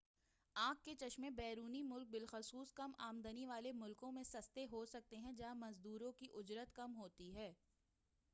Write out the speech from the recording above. آنکھ کے چشمے بیرونی ملک بالخصوص کم آمدنی والے ملکوں میں سستے ہو سکتے ہیں جہا ں مزدوروں کی اجرت کم ہوتی ہے